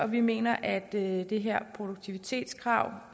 vi mener at det her produktivitetskrav